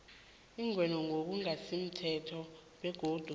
ingenwe ngokungasimthetho begodu